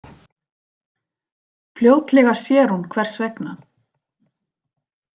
Fljótlega sér hún hvers vegna.